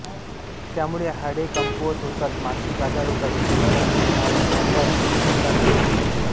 त्यामुळे हाडे कमकुवत होतात मानसिक आजार होतात लिव्हर आणि नर्व्हस सिस्टीमला नुकसान पोचते